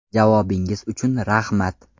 Javobingiz uchun rahmat!